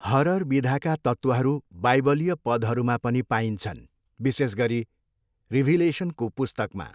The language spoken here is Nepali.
हरर विधाका तत्त्वहरू बाइबलीय पदहरूमा पनि पाइन्छन्, विशेष गरी रिभिलेसनको पुस्तकमा।